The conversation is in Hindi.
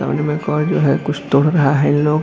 में एक और जो है कुछ तोड़ रहा है लोग।